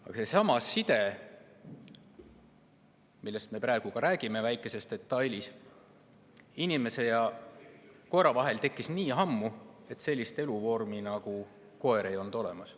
Aga seesama side, millest me praegu räägime, väikest detaili, side inimese ja koera vahel tekkis nii ammu, et sellist eluvormi nagu koer ei olnud olemas.